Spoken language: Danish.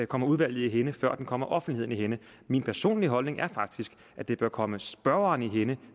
kommer udvalget i hænde før det kommer offentligheden i hænde min personlige holdning er faktisk at det bør komme spørgeren i hænde